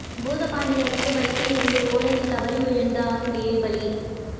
பூதப்பாண்டி அருகே பைக்கில் இருந்து ஓடையில் தவறி விழுந்து ஆசிரியை பலி